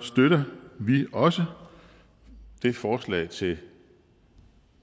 støtter vi også det forslag til